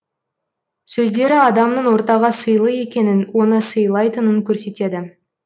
сөздері адамның ортаға сыйлы екенін оны сыйлайтынын көрсетеді